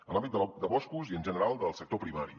en l’àmbit de boscos i en general del sector primari